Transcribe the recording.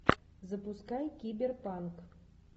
запускай киберпанк